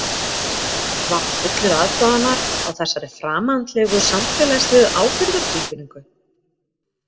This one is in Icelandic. Var hann fullur aðdáunar á þessari framandlegu samfélagslegu ábyrgðartilfinningu?